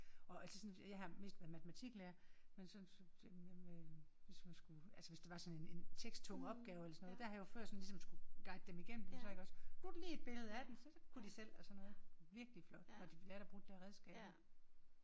Og altså sådan fordi at jeg har mest været matematiklærer men så så jamen øh hvis man skulle altså hvis det var sådan en en teksttung opgave eller sådan noget der har jeg jo før sådan ligesom skulle altså guide dem igennem den så iggås nu det lige et billede af det så kunne de selv. Virkelig flot når de lærer at bruge de der redskaber